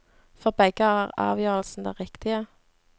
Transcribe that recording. For begge er avgjørelsen den riktige.